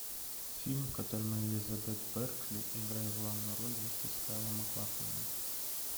фильм в котором элизабет беркли играет главную роль вместе с кайлом маклахленом